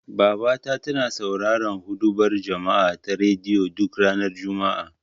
Babata tana sauraron huɗubar juma'a ta rediyo, duk ranar juma'a.